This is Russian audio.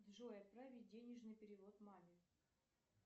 джой отправить денежный перевод маме